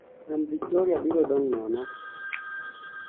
nam Victoria biro dong' nono